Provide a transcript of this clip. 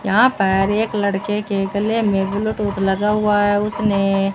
यहां पर एक लड़के के गले में ब्लूटूथ लगा हुआ है उसने --